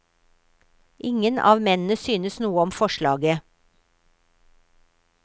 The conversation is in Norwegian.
Ingen av mennene synes noe om forslaget.